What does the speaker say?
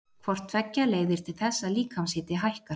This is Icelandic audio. Hvort tveggja leiðir til þess að líkamshiti hækkar.